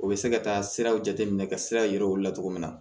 U bɛ se ka taa siraw jateminɛ ka sira yira u la cogo min na